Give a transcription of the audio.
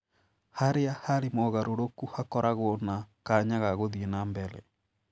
Harĩa harĩ mogarũrũku hakoragwo na kanya ka gũthiĩ nambere.